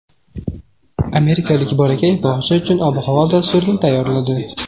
Amerikalik bolakay bog‘cha uchun ob-havo dasturini tayyorladi .